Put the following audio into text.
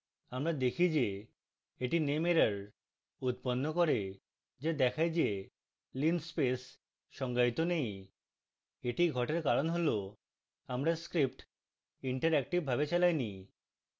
আমরা দেখি যে এটি nameerror উৎপন্ন করে যা দেখায় যে linspace সংজ্ঞায়িত নেই